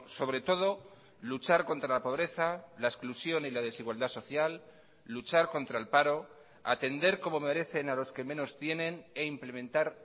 sobre todo luchar contra la pobreza la exclusión y la desigualdad social luchar contra el paro atender como merecen a los que menos tienen e implementar